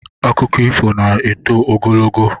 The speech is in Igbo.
Akụkọ ifo na-eto ogologo